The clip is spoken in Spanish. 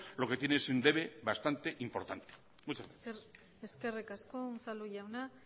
lo que tiene es un debe bastante importante muchas gracias eskerrik asko unzalu jauna